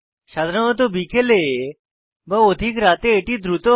সাধারণত বিকেলে বা অধিক রাতে এটি দ্রুত হয়